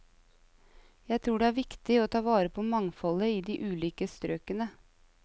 Jeg tror det er viktig å ta vare på mangfoldet i de ulike strøkene.